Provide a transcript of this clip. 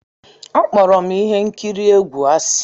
Akpọrọ m ihe nkiri egwu asị.